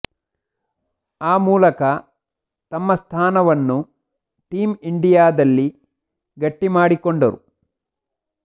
ಆ ಮೂಲಕ ತಮ್ಮ ಸ್ಥಾನವನ್ನು ಟೀಂ ಇಂಡಿಯಾದಲ್ಲಿ ಗಟ್ಟಿ ಮಾಡಿಕೊಂಡರು